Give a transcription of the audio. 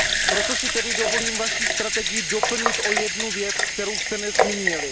Proto si tedy dovolím vaši strategii doplnit o jednu věc, kterou jste nezmínili.